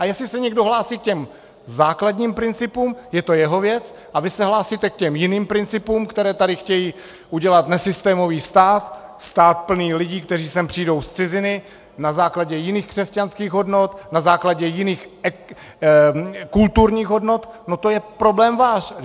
A jestli se někdo hlásí k těm základním principům, je to jeho věc, a vy se hlásíte k těm jiným principům, které tady chtějí udělat nesystémový stát, stát plný lidí, kteří sem přijdou z ciziny na základě jiných křesťanských hodnot, na základě jiných kulturních hodnot, no to je problém váš!